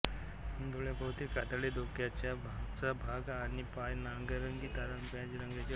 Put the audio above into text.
डोळ्यांभोवती कातडी डोक्याचा मागचा भाग आणि पाय नारंगी तांबड्या रंगाचे असतात